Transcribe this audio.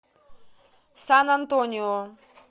сан антонио